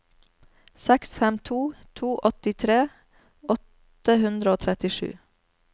seks fem to to åttitre åtte hundre og trettisju